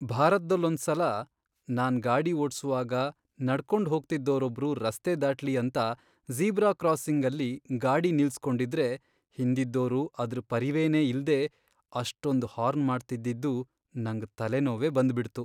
ಭಾರತ್ದಲ್ಲೊಂದ್ಸಲ ನಾನ್ ಗಾಡಿ ಓಡ್ಸುವಾಗ ನಡ್ಕೊಂಡ್ ಹೋಗ್ತಿದ್ದೋರೊಬ್ರು ರಸ್ತೆ ದಾಟ್ಲಿ ಅಂತ ಜೀಬ್ರಾ ಕ್ರಾಸಿಂಗಲ್ಲಿ ಗಾಡಿ ನಿಲ್ಸ್ಕೊಂಡಿದ್ರೆ ಹಿಂದಿದ್ದೋರು ಅದ್ರ್ ಪರಿವೆನೇ ಇಲ್ದೇ ಅಷ್ಟೊಂದ್ ಹಾರ್ನ್ ಮಾಡ್ತಿದ್ದಿದ್ದು ನಂಗ್ ತಲೆನೋವೇ ಬಂದ್ಬಿಡ್ತು.